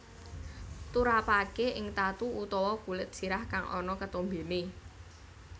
Turapaké ing tatu utawa kulit sirah kang ana ketombené